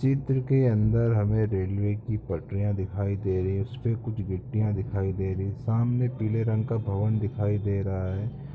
चित्र के अंदर हमें रेलवे की पटरियाँ दिखाई दे रही है उसपे कुछ गिट्टियाँ दिखाई दे रही है सामने पीले रंग का भवन दिखाई दे रहा हैं ।